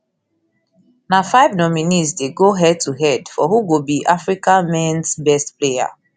na five nominees dey go head to head for who go be di africa mens best player